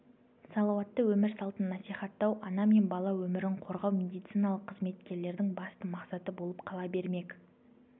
салауатты өмір салтын насихаттау ана мен бала өмірін қорғау медициналық қызметкерлердің басты мақсаты болып қала бермек